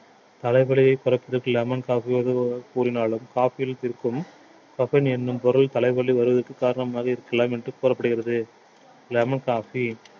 தலைவலியை குறைப்பதற்கு lemon சாப்பிடுவது கூறினாலும் coffee யில் இருக்கும் caffin எண்ணும் பொருள் தலைவலி வருவதற்கு காரணமாக இருக்கலாம் என்று கூறப்படுகிறது lemon coffee